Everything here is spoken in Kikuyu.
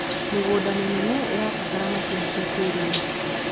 mĩgũnda minene irabatara mcinĩ cia kĩiriu